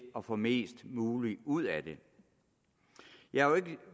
at få mest muligt ud af det